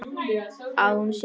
Að hún sé ljón.